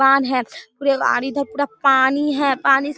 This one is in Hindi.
पान है पूरे और इधर पूरा पानी है पानी --